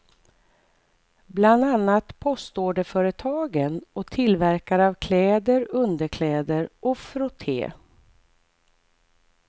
Bland annat postorderföretagen och tillverkare av kläder, underkläder och frotté.